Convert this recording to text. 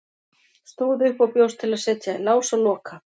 Stóð upp og bjóst til að setja í lás og loka.